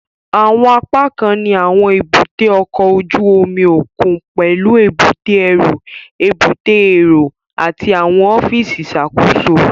Àwọn apákan ní àwọn èbúté ọkọ̀ ojú omi òkun pẹlú èbúté ẹrú, èbúté èrò àti àwọn ọfíìsì ìṣàkóso